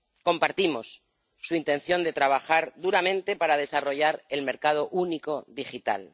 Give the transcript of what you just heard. Compartimos su intención de trabajar duramente para desarrollar el mercado único digital.